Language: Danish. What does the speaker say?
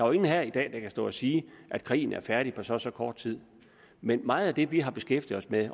jo ingen her i dag der kan stå og sige at krigen er færdig på så og så kort tid men meget af det vi har beskæftiget os med